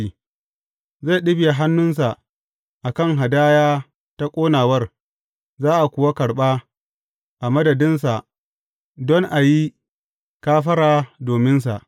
Zai ɗibiya hannunsa a kan hadaya ta ƙonawar, za a kuwa karɓa a madadinsa don a yi kafara dominsa.